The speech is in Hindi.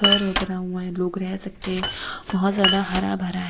घर भी बना हुआ है लोग रह सकते हैं बहोत ज्यादा हरा भरा है।